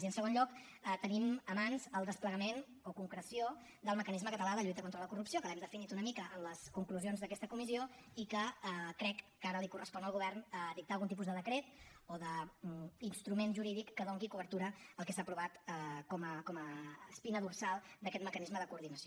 i en segon lloc tenim a les mans el desplegament o concreció del mecanisme català de lluita contra la corrupció que l’hem definit una mica en les conclusions d’aquesta comissió i crec que ara correspon al govern dictar algun tipus de decret o d’instrument jurídic que doni cobertura al que s’ha aprovat com a espina dorsal d’aquest mecanisme de coordinació